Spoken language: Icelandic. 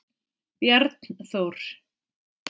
Bjarnþór